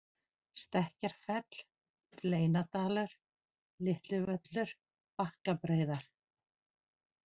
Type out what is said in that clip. Stekkjarfell, Fleinadalur, Litlivöllur, Bakkabreiðar